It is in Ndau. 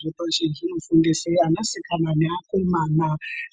Zvepashi zvinofundise ana sikana neakomana